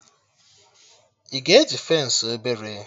Ị ga eji fensị obere?